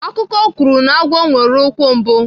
Akụkọ kwuru na agwọ nwere ikwu mbụ.